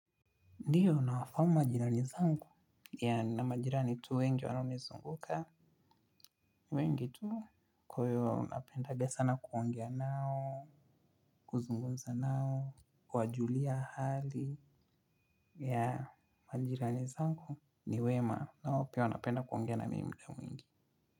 Ndiyo nawafahamu majirani zangu, yeah nina majirani tu wengi wanaonizunguka wengi tu kwa hiyo napendaga sana kuongea nao, kuzungunza nao, kuwajulia hali ya majirani zangu ni wema nao pia wanapenda kuongea na mimi mda wengi.